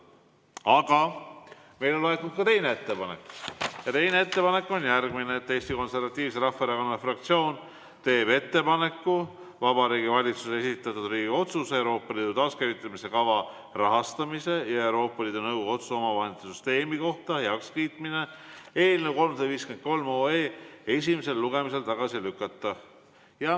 Aga meile on laekunud ka teine ettepanek ja teine ettepanek on järgmine: Eesti Konservatiivse Rahvaerakonna fraktsioon teeb ettepaneku Vabariigi Valitsuse algatatud Riigikogu otsuse "Euroopa Liidu taaskäivitamise kava rahastamise ja Euroopa Liidu Nõukogu otsuse omavahendite süsteemi kohta heakskiitmine" eelnõu 353 esimesel lugemisel tagasi lükata.